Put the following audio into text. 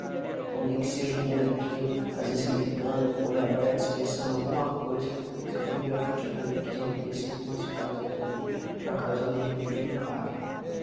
Então, nem que seja um bonequinho, às vezes gritando, com o olho aberto, expressando alguma coisa, sempre no grafite eu também quis meter sempre umas frases também, para causar de repente um impacto.